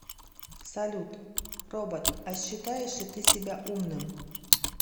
салют робот а считаешь ли ты себя умным